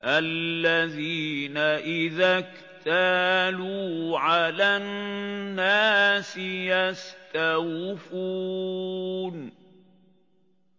الَّذِينَ إِذَا اكْتَالُوا عَلَى النَّاسِ يَسْتَوْفُونَ